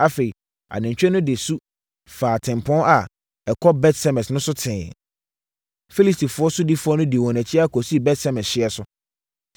Afei, anantwie no de su faa tempɔn a ɛkɔ Bet-Semes no so tee. Filistifoɔ sodifoɔ dii wɔn akyi ara kɔsii Bet-Semes hyeɛ so.